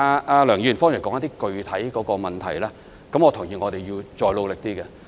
就梁議員剛才提出的具體問題，我認同我們要再努力一點。